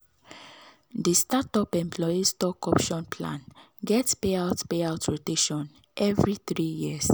the start-up employee stock option plan get pay out pay out rotation every three years